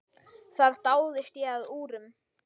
Þar dáðist ég að úrum.